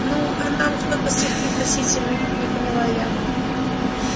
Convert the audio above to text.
ну а нам что-то с их пригласительных не поняла я